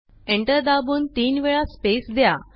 enter दाबून तीन वेळा स्पेस द्या